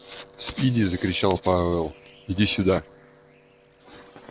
спиди закричал пауэлл иди сюда